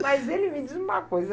Mas ele me diz uma coisa.